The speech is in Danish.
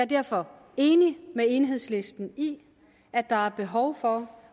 derfor enig med enhedslisten i at der er behov for